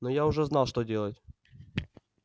но я уже знал что делать